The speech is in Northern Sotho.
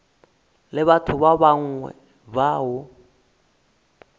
le batho ba bangwe bao